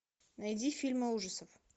найди фильмы ужасов